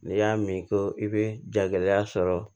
N'i y'a min ko i bɛ jagɛlɛya sɔrɔ